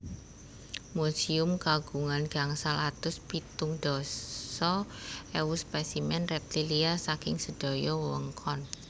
Museum kagungan gangsal atus pitung dasa ewu spesimen reptilia saking sedaya wewengkon